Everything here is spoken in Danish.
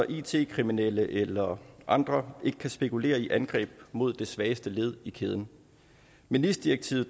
it kriminelle eller andre ikke kan spekulere i angreb mod det svageste led i kæden med nis direktivet